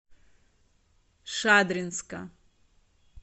шадринска